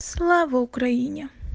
слава украине